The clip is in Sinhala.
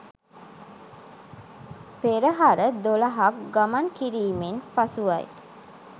පෙරහර 12 ක් ගමන් කිරීමෙන් පසුවයි.